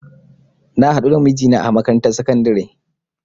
Na hadu da mijina a makarantar sakandare